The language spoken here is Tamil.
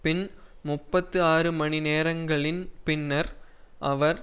பின் முப்பத்தி ஆறு மணி நேரங்களின் பின்னர் அவர்